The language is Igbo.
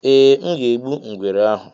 eeh, m ga-egbu ngwere ahụ